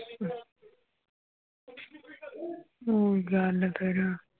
ਊਂ ਗੱਲ ਕਰਾਂ